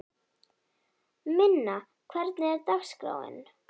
Minna, hvernig er dagskráin?